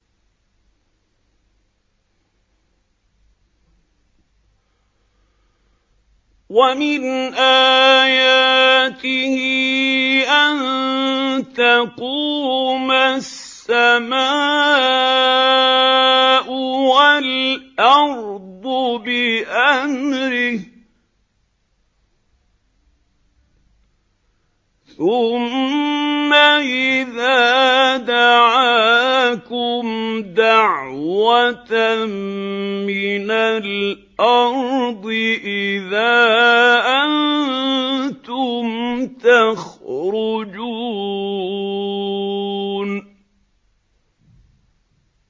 وَمِنْ آيَاتِهِ أَن تَقُومَ السَّمَاءُ وَالْأَرْضُ بِأَمْرِهِ ۚ ثُمَّ إِذَا دَعَاكُمْ دَعْوَةً مِّنَ الْأَرْضِ إِذَا أَنتُمْ تَخْرُجُونَ